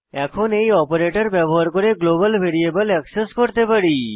এখন এই অপারেটর ব্যবহার করে গ্লোবাল ভ্যারিয়েবল অ্যাক্সেস করতে পারি